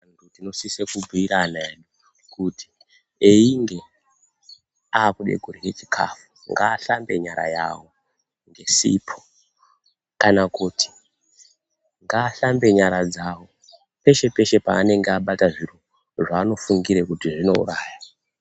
Antu tinosise kubhuire ana edu, kuti einge akuda kurya chikafu ngashambe nyara yavo ngesipo. Kana kuti ngashambe nyara dzavo peshe-peshe paanenge abata zviro zvaanofungire kuti zvinouraya.